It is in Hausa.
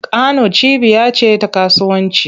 Kano cibiya ce ta kasuwanci.